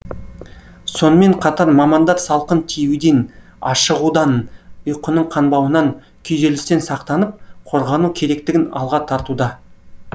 сонымен қатар мамандар салқын тиюден ашығудан ұйқының қанбауынан күйзелістен сақтанып қорғану керектігін алға тартуда